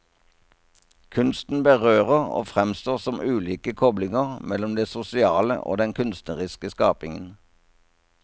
Kunsten berører og fremstår som ulike koblinger mellom det sosiale og den kunstneriske skapingen.